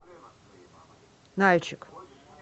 нальчик